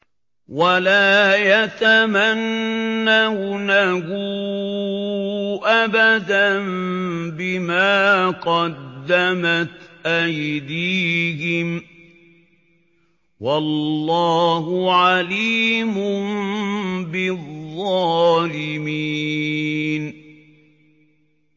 وَلَا يَتَمَنَّوْنَهُ أَبَدًا بِمَا قَدَّمَتْ أَيْدِيهِمْ ۚ وَاللَّهُ عَلِيمٌ بِالظَّالِمِينَ